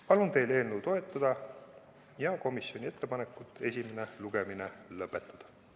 Palun teil toetada eelnõu ja komisjoni ettepanekut esimene lugemine lõpetada.